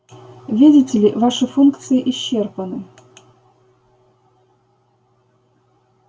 видите ли ваши функции исчерпаны